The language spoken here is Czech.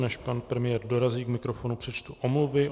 Než pan premiér dorazí k mikrofonu, přečtu omluvy.